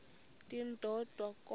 ndim ndodwa kodwa